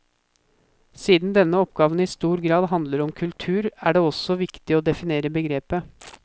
Siden denne oppgaven i stor grad handler om kultur, er det viktig å definere begrepet.